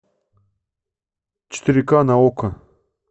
четыре ка на окко